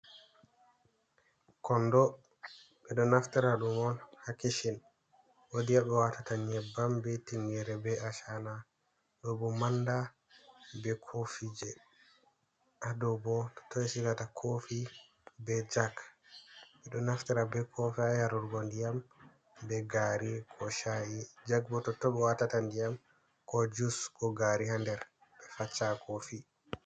Kondo ɓeɗo naftara ɗum on ha kishin wodi haɓe watata nyebbam be tinyere be ashana do bo manda be kofi je ha do bo kofi be jag ɓeɗo naftira be kofi harurgo ndiyam be gari ko sha’i jag bo to tobe watata ndiyam ko jus bo gari ha nder be facca kofi.